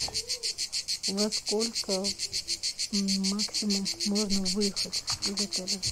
во сколько максимум можно выехать из отеля